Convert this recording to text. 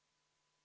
Kohtume homme!